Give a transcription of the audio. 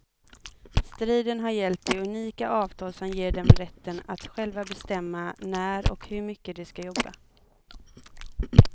Striden har gällt det unika avtal som ger dem rätten att själva bestämma när och hur mycket de ska jobba.